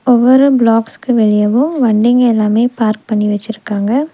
ஒவ்வொரு ப்ளாக்ஸ்க்கு வெளியவு வண்டிங்க எல்லாமே பார்க் பண்ணி வெச்சுருக்காங்க.